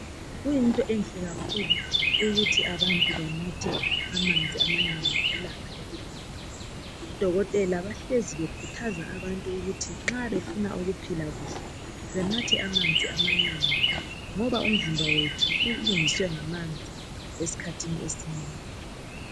Kuyinto enhle kakhulu ukuthi abantu banathe amanzi amanengi ngelanga elilodwa odokotela bahlezi bekhuthaza abantu ukuthi nxa befuna ukuphila kuhle benathe amanzi amanengi ngoba umzimba wethu ulungiswe ngamanzi esikhathi ezinengi.